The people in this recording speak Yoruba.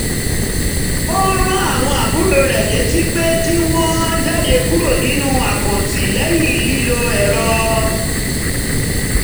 um ó rán àwọn àbúrò rẹ létí pé kí wọ́n jáde kúrò nínú àkàǹtì lẹ́yìn lílo ẹ̀rọ